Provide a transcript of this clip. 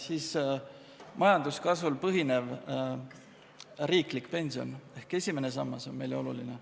Teiseks, majanduskasvul põhinev riiklik pension ehk esimene sammas on samuti oluline.